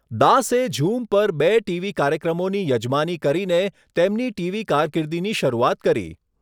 દાસે ઝૂમ પર બે ટીવી કાર્યક્રમોની યજમાની કરીને તેમની ટીવી કારકિર્દીની શરૂઆત કરી.